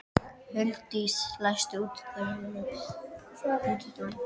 Huldís, læstu útidyrunum.